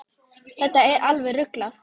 Þetta er alveg ruglað.